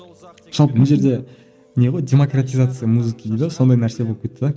жалпы мына жерде не ғой демократизация музыки дейді ғой сондай нәрсе болып кетті де